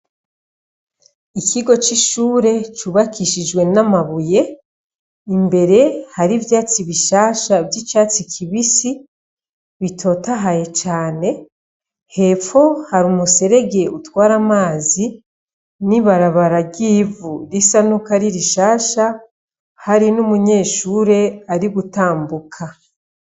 Ikigo c'ishure cubakishijwe n'amabuye, imbere hari ivyatsi bishasha vy'icatsi kibisi bitotahaye cane, hepfo hari umuserege utwara amazi, n'ibarabara ry'ivu risa nuko ari rishasha, hari n'umunyeshure ari gutambuka.